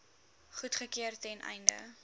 goedgekeur ten einde